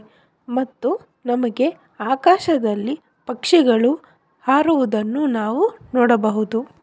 ಮತ್ತು ನಮಗೆ ಆಕಾಶದಲ್ಲಿ ಪಕ್ಷಿಗಳು ಹಾರುವುದನ್ನು ನಾವು ನೋಡಬಹುದು.